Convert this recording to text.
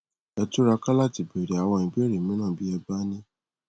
ẹ túra ká láti béèrè àwọn ìbéèrè mìíràn bí ẹ bá ní